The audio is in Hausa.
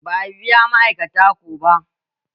Ba a biya ma'aikata ko ba.